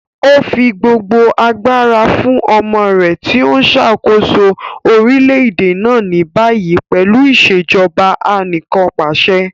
O fi gbogbo agbara fun ọmọ rẹ ti o nṣakoso orilẹ-ede na ni bayi pẹlu Ìṣèjọba Anìkanpàṣẹ.